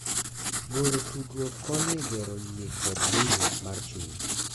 Goro tudruok konyo e gero yie kod winjruok mar chuny